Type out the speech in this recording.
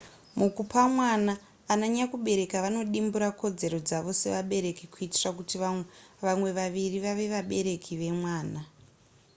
mukupa mwana ananyakubereka vanodimbura kodzero dzavo sevabereki kuitira kuti vamwe vaviri vave vabereki vemwana